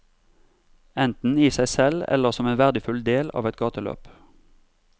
Enten i seg selv eller som en verdifull del av et gateløp.